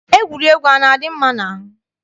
Egwuregwu ana-adị mma n'ahụ?